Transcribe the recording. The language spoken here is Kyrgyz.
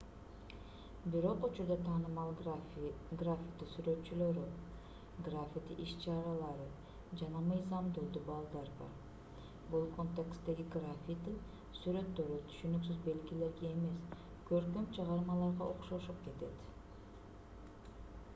бирок учурда таанымал граффити сүрөтчүлөрү граффити иш-чаралары жана мыйзамдуу дубалдар бар бул контексттеги граффити сүрөттөрү түшүнүксүз белгилерге эмес көркөм чыгармаларга окшошуп кетет